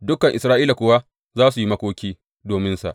Dukan Isra’ila kuwa za su yi makoki dominsa.